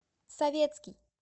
советский